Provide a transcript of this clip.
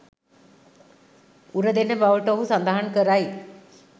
උරදෙන බවට ඔහු සඳහන් කරයි